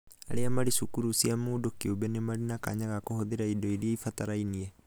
aria marĩ cukuru cia mũndũ kĩũmbe nĩmarĩ na kanya ga kũhũthĩra indo iria irabatarania.